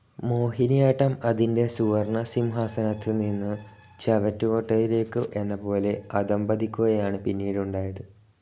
മോഹിനിയാട്ടം അതിന്റെ സുവർണസിംഹാസനത്തിൽ നിന്നും ചവറ്റുകുട്ടയിലേയ്ക്കു എന്ന പോലെ അധഃപതിക്കുകയാണു പിന്നീടുണ്ടായത്.